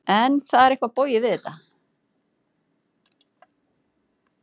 En það er eitthvað bogið við þetta.